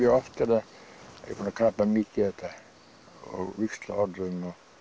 oft er ég búinn að krafla mikið í þetta og víxla orðum